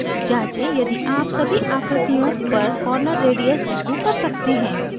जाँचें यदि आप सभी आकृतियों पर corner radius लागू कर सकते हैं